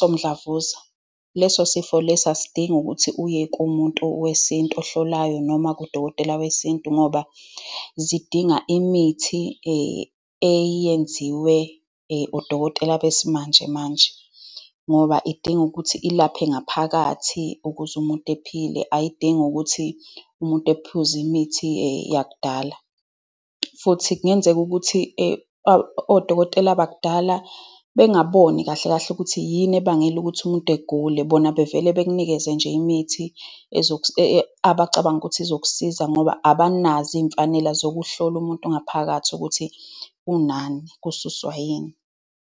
somdlavuza. Leso sifo leso asidinga ukuthi uye kumuntu wesintu ohlolayo, noma kudokotela wesintu, ngoba zidinga imithi eyenziwe odokotela besimanjemanje. Ngoba idinga ukuthi ilaphe ngaphakathi ukuze umuntu ephile. Ayidingi ukuthi umuntu ephuze imithi yakudala. Futhi kungenzeka ukuthi odokotela bakudala bengaboni kahle kahle ukuthi yini ebangela ukuthi umuntu egule. Bona bevele bekunikeze nje imithi abacabanga ukuthi izokusiza ngoba abanazo iy'mfanela zokuhlola umuntu ngaphakathi ukuthi unani, kususwa yini.